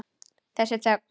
Þessa þögn.